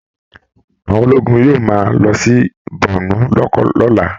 Àwọn ológun yóò máa lọ sí borno lọ́la